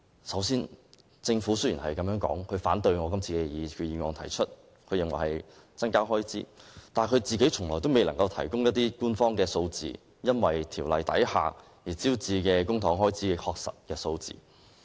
雖然政府反對我今次提出的擬議決議案，認為會增加開支，但卻從未能提供官方數字，說明該條例所招致公帑開支的確實數字。